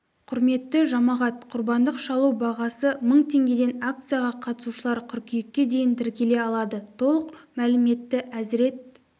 құрметті жамағат құрбандық шалу бағасы мың теңгеден акцияға қатысушылар қыркүйекке дейін тіркеле алады толық мәліметті әзірет